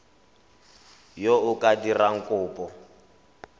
yo o ka dirang kopo